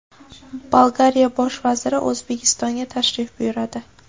Bolgariya bosh vaziri O‘zbekistonga tashrif buyuradi.